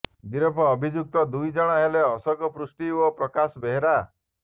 ଗିରଫ ଅଭିଯୁକ୍ତ ଦୁଇ ଜଣ ହେଲେ ଅଶୋକ ପୃଷ୍ଟି ଓ ପ୍ରକାଶ ବେହେରା